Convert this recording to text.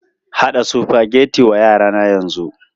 Haɗa Sufageti wa yara na yanzu!